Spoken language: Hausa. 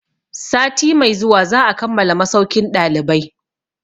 Sati mai zuwa za a kammala masaukin ɗalibai.